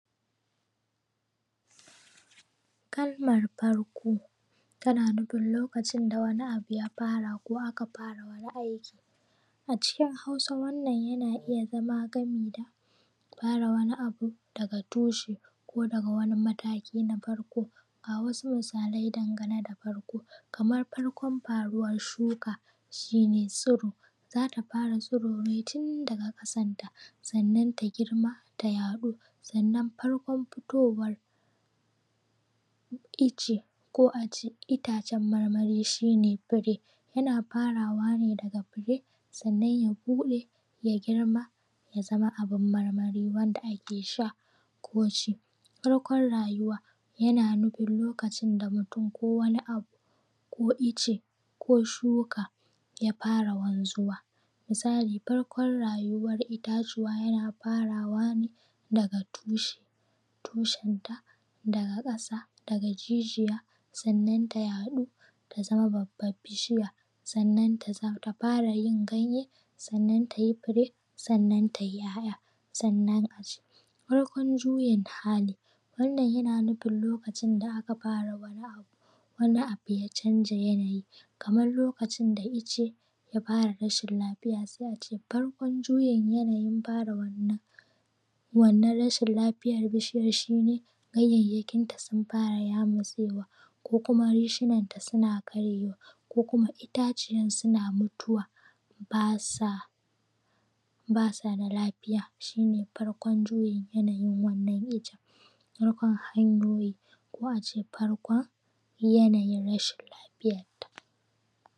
Kiwon kaji a wurarenmu ba shi da wahala. Kana neman ɗaki ne a sa fitila saboda ya dunga haska masu da dare suna cin abinci a rufe ƙofofi saboda iska ko sanyi kar ya dame su, Sannan a samu abin ruwa a aje masu wanda za su riƙa shan ruwa da shi, kiwon kaji yana da matuƙar sauƙi sosai tunda mafi yawanci a cikin gida ake yin shi, Sannan kuma mai kaji yana kula da su sosai yana ba su dukkanin lura da suke buƙata daga abinci zuwa abin sha zuwa magani da dai allurorinsu ga baki ɗaya, Shi mai kajin shi yake kula da shi, sannan kuma yakan duba wasu irin kaji ya zuba kuma wane irin magani za a ba su, ko kuma wane irin abinci za a ba su? Masu ƙwai ne ko kuma wanda ake tare su ne saboda nama, duk yana cikin abin da ake lura wajen kiwon kaji.